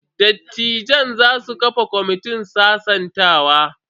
Dattijan za su kafa kwamitin sasantawa.